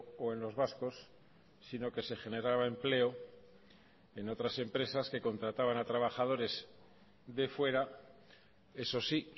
o en los vascos sino que se generaba empleo en otras empresas que contrataban a trabajadores de fuera eso sí